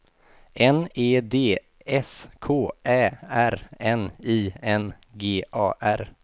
N E D S K Ä R N I N G A R